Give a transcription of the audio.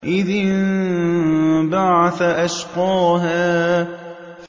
إِذِ انبَعَثَ أَشْقَاهَا